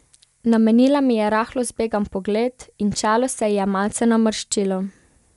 Namenila mi je rahlo zbegan pogled in čelo se ji je malce namrščilo.